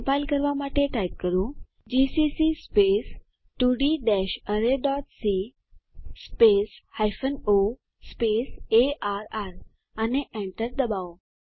compile કરવા માટે type કરો જીસીસી 2d arrayસી o અર્ર અને enter ડબાઓ